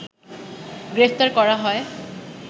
গ্রেফতার করা হয়